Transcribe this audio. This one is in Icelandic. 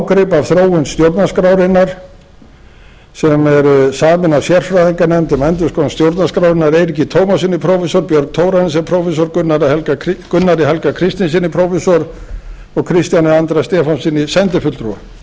ágrip af þróun stjórnarskrárinnar sem er samin af sérfræðinganefnd um endurskoðun stjórnarskrárinnar eiríki tómassyni prófessor björn thorarensen prófessor gunnari helga kristinssyni prófessor og kristjáni andra stefánssyni sendifulltrúa